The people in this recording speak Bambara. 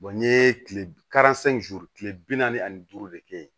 n ye kile kile bi naani ani duuru de kɛ yen